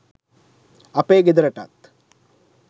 අපේ ගෙදරටත්